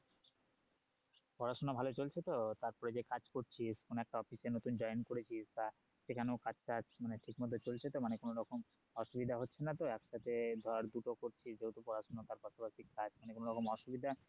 পড়াশোনা ভালো চলছে তো তারপর যে কাজ করছিস কোন একটা office এ নতুন join করেছিস তা সেখানেও কাজ টাজ ঠিকমতো চলছে তো মানে কোনো রকম অসুবিধা হচ্ছে না তো একসাথে ধর দুটো করছিস তো পড়াশোনার সাথে কাজ কোনো রকম অসুবিধা